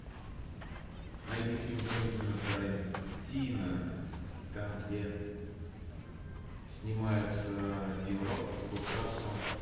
найди фильм квентина тарантино там где снимаются тим рот курт рассел